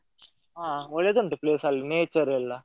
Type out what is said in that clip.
ಹಾ ಒಳ್ಳೆದುಂಟು place ಅಲ್ಲಿ, nature ಎಲ್ಲ.